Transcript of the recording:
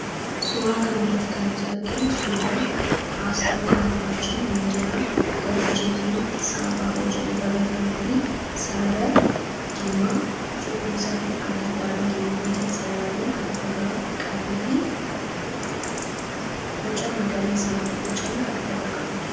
suuraa kan irratti kannuti arginnu suuraa asxakaanfaajii miidiyaa gabaajeetiin saabaa ojodhee barreeffamee fi sarara diimaa cuqullisaa fi adiidhaan geengootiin sararaman kc magariiaa bocame kan of irraa qabuha